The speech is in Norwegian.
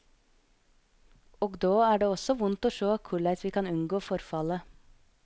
Og då er det også vondt å sjå korleis vi kan unngå forfallet.